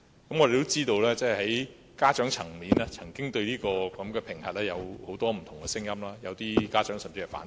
大家也知道，學生家長曾經對有關評核有很多不同的聲音，有些家長甚至表示反對。